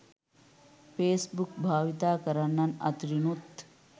Facebook භාවිත කරන්නන් අතරිනුත්